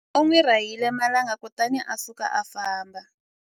U n'wi rahile marhanga kutani a suka a famba.